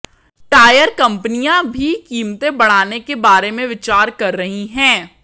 tyre कंपनियां भी कीमतें बढ़ाने के बारे में विचार कर रही हैं